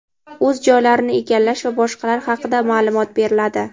o‘z joylarini egallash va boshqalar haqida ma’lumot beriladi.